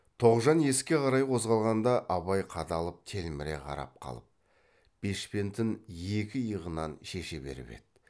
тоғжан есікке қарай қозғалғанда абай қадалып телміре қарап қалып бешпентін екі иығынан шеше беріп еді